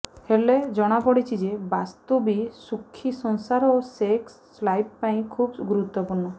ହେଲେ ଜଣାପଡିଛି ଯେ ବାସ୍ତୁ ବି ସୁଖି ସଂସାର ଓ ସେକ୍ସ ଲାଇଫ ପାଇଁ ଖୁବ୍ ଗୁରୁତ୍ୱପୂର୍ଣ୍ଣ